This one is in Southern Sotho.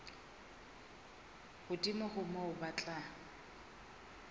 hodimo ho moo ba tla